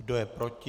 Kdo je proti?